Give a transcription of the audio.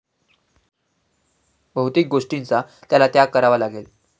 भौतिक गोष्टींचा त्याला त्याग करावा लागेल.